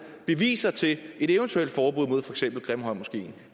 beviser til et eventuelt forbud mod for eksempel grimhøjmoskeen